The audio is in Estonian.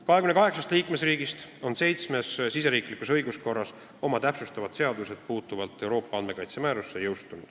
28 liikmesriigist seitsme riigisiseses õiguskorras on jõustunud täpsustavad seadused, mis puudutavad Euroopa andmekaitse määrust.